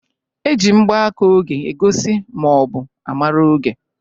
E ji mgbaka oge egosi ma ọ bụ a mara oge.